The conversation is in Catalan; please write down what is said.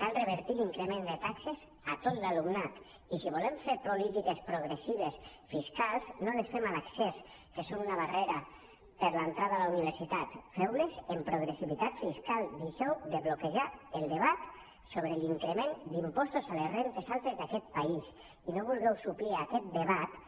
cal revertir l’increment de taxes a tot l’alumnat i si volem fer políti·ques progressives fiscals no les fem a l’accés que és una barrera per a l’entrada a la universitat feu·les amb progressivitat fiscal deixeu de bloquejar el debat sobre l’increment d’impostos a les rendes altes d’aquest país i no vulgueu suplir aquest debat